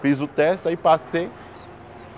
Fiz o teste, aí passei.